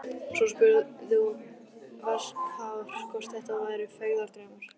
Svo hún spurði varkár hvort þetta væru feigðardraumar.